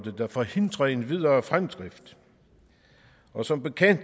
der forhindrer en videre fremdrift og som bekendt